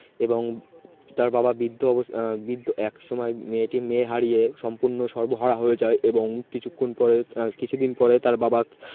এবং তার বাবা বৃদ্ধ অব বৃদ্ধ একসময় মেয়েটি মেয়ে হারিয়ে সম্পূর্ণ সর্বহারা হয়ে যায় এবং কিছুক্ষণ কিছুদিন পরে তার বাবা